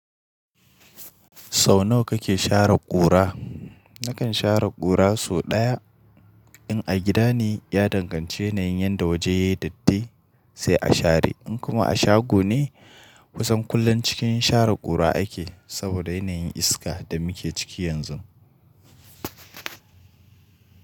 Sau nawa kake share ƙura? Nakan share ƙura sau ɗaya. In a gida ne, ya danganci yanayin yanda waje yake datti sai a share. In kuma a shago ne, kusan kullum cikin share ƙura ake saboda yanayin iska da muke ciki yanzu.